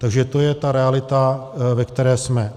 Takže to je ta realita, ve které jsme.